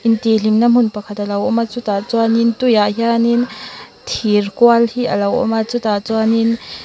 intihhlimna hmun pakhat a lo awm a chutah chuan tuiah hianin thir khal a lo awm a chutah chuanin.